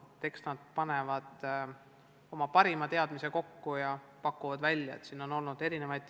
Eks nad panevad oma parimad teadmised kokku ja pakuvad lahenduse välja.